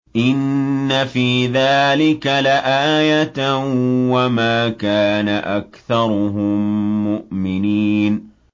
إِنَّ فِي ذَٰلِكَ لَآيَةً ۖ وَمَا كَانَ أَكْثَرُهُم مُّؤْمِنِينَ